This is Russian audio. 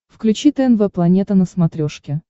включи тнв планета на смотрешке